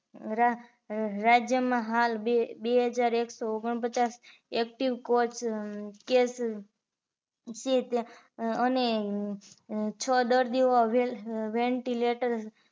રાજય માં હાલ બે હજાર એક સો ઓગણ પચાસ active કોસ case છે અને હ છ દર્દીઓ vantilator